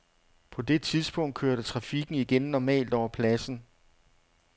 På det tidspunkt kørte trafikken igen normalt over pladsen.